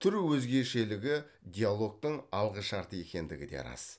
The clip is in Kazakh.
түр өзгешелігі диалогтың алғышарты екендігі де рас